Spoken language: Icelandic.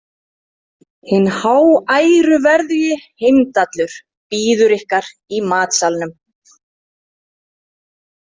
Hinn háæruverðugi Heimdallur bíður ykkar í matsalnum.